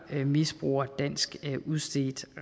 misbruger dansk udstedt